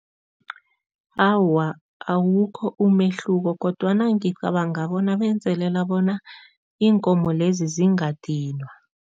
Awa, awukho umehluko kodwana ngicabanga bona benzelela bona iinkomo lezi zingadinwa.